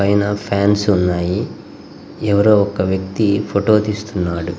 పైన ఫాన్స్ ఉన్నాయి. ఎవరో ఒక వ్యక్తి ఫోటో తీస్తున్నాడు.